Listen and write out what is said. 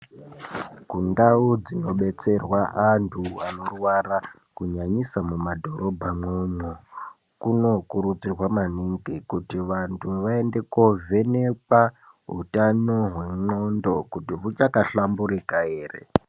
Ndau dzinobetserwa antu anorwara kunyanyisa mumadhorobhamwo mwomwo kunokurudzirwa maningi kuti vantu vaende kovhenekwa utano hwendxondo kuti huchakahlamburika ere.